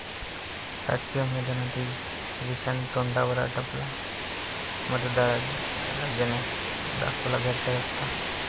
राजकीय मैदानातही श्रीशांत तोंडावर आपटला, मतदारराजाने दाखवला घरचा रस्ता